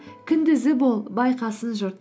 күндізі бол байқасын жұрт